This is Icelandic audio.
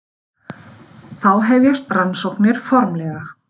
Þá hefjast rannsóknir formlega.